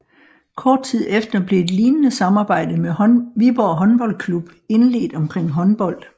Kort tid efter blev et lignede samarbejde med Viborg Håndboldklub indledt omkring håndbold